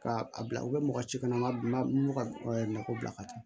K'a a bila u bɛ mɔgɔ si kɔnɔma ka nakɔ bila ka taa